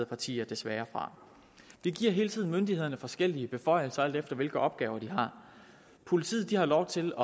partier desværre fra vi giver hele tiden myndighederne forskellige beføjelser alt efter hvilke opgaver de har politiet har lov til